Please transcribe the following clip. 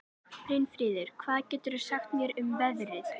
Brynfríður, hvað geturðu sagt mér um veðrið?